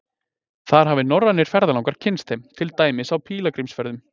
Þar hafa norrænir ferðalangar kynnst þeim, til dæmis á pílagrímsferðum.